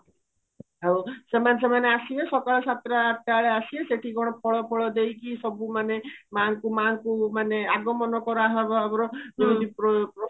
ଆଉ ସେମାନେ ସେମାନେ ଆସିବେ ସକାଳ ସାତଟା ଆଠଟା ବେଳେ ଆସିବେ ସେହତି କଣ ଫଳ ଫଳ ଦେଇକି ସବୁ ମାନେ ମାଙ୍କୁ ମାଙ୍କୁ ମାନେ ଆଗମନ କରାହବ ଆମର ଯେମିତି